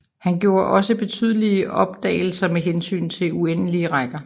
Han gjorde også betydelige opdagelser med hensyn til uendelige rækker